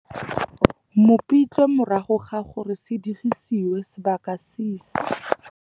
Mopitlwe morago ga gore se digisiwe sebaka si si.